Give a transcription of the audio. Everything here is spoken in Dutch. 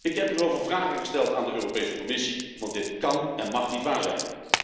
Ik heb hierover vragen gesteld aan de Europese Commissie, want dit kan en mag niet waar zijn.